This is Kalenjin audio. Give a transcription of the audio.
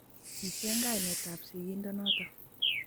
Kicheng kainetab sigindonoto